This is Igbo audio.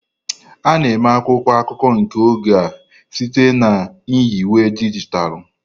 A na-eme akwụkwọ akụkọ nke oge a site na nyiwe dijitalụ.